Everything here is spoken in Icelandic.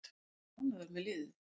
Ég var ánægður með liðið.